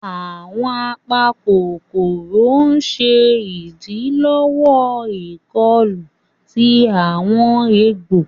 Awọn apakokoro ṣe idilọwọ ikọlù tí awọn egbò.